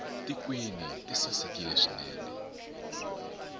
tikhwini ti sasekile swinene